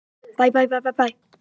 Ólafur Lárusson: Grágás